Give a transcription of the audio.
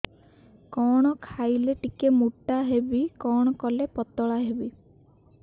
କଣ ଖାଇଲେ ଟିକେ ମୁଟା ହେବି କଣ କଲେ ପତଳା ହେବି